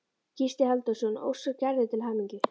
Gísli Halldórsson óskar Gerði til hamingju.